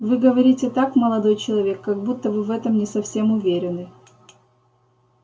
вы говорите так молодой человек как будто вы в этом не совсем уверены